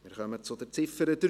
Wir kommen zur Ziffer 3.